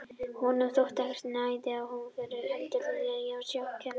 Honum þótti ekki nægja að hún bæði fyrirgefningar heldur vildi hann sjá knékrjúpandi iðrun.